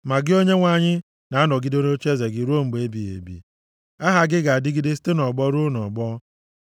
Ma gị Onyenwe anyị, na-anọgide nʼocheeze gị ruo mgbe ebighị ebi; aha gị ga-adịgide site nʼọgbọ ruo nʼọgbọ.